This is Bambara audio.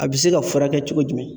A bɛ se ka furakɛ cogo jumɛn.